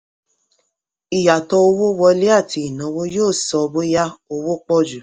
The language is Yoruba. ìyàtọ̀ owó wọlé àti ìnáwó yóò sọ bóyá owó pọ̀ jù.